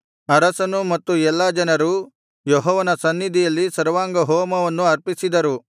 ಅರಸನೂ ಮತ್ತು ಎಲ್ಲಾ ಜನರೂ ಯೆಹೋವನ ಸನ್ನಿಧಿಯಲ್ಲಿ ಸರ್ವಾಂಗಹೋಮವನ್ನು ಅರ್ಪಿಸಿದರು